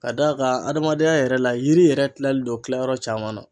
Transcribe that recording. Ka d'a kan adamadenya yɛrɛ la yiri yɛrɛ kilalen don kilayɔrɔ caman na.